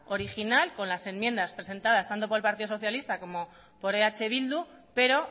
original con las enmiendas presentadas tanto por el partido socialista como por eh bildu pero